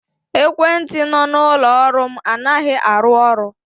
Ekwentị nọ n'ụlọ ọrụ m anaghị arụ ọrụ.